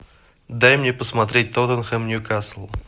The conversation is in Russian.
дай мне посмотреть тоттенхэм ньюкасл